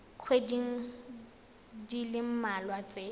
dikgweding di le mmalwa tse